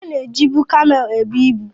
Ana ejibụ kamel ebụ ịbu